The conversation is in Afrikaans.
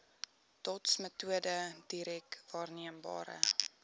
dotsmetode direk waarneembare